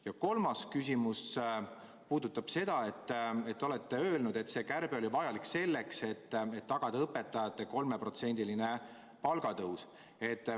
Ja kolmas küsimus puudutab seda, et te olete öelnud, et see kärbe oli vajalik selleks, et tagada õpetajate 3%-line palgatõus.